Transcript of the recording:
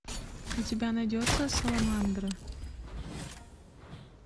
у тебя найдется саламандра